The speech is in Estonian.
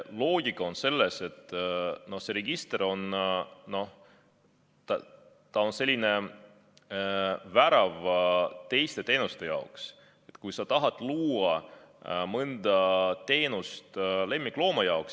Loogika on selles, et see register on justkui värav teiste teenuste jaoks, et kui sa tahad luua mõnda teenust lemmiklooma jaoks.